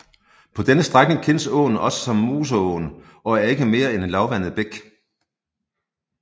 På denne strækning kendes åen også som Moseåen og er ikke mere end en lavvandet bæk